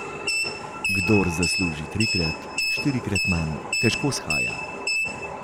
Kdor zasluži trikrat, štirikrat manj, težko shaja.